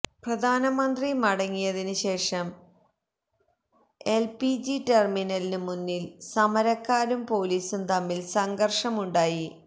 പ്രധാനമന്ത്രി മടങ്ങിയതിന് ശേഷം എല്പിജി ടെര്മിനലിന് മുന്നില് സമരക്കാരും പോലീസും തമ്മില് സംഘര്ഷമുണ്ടായി